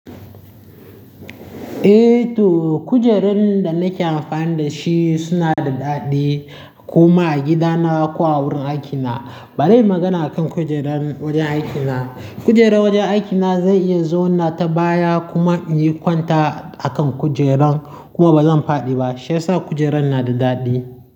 Eh to kujeran da nake amfani da shi suna da daɗi kuma a gidana ko a wurin aikina. Bari magana akan kujeran wajen aikina. Kujeran wajen aikina zai iya zauna ta baya kuma in yi kwanta a kan kujeran kuma ba zan faɗi ba. Shiyasa kujeran na da daɗi.